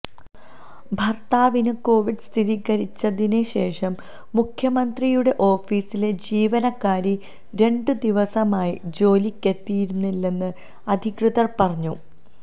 ഭർത്താവിന് കോവിഡ് സ്ഥിരീകരിച്ചതിനു ശേഷം മുഖ്യമന്ത്രിയുടെ ഓഫീസിലെ ജീവനക്കാരി രണ്ടു ദിവസമായി ജോലിക്കെത്തിയിരുന്നില്ലെന്ന് അധികൃതർ പറഞ്ഞു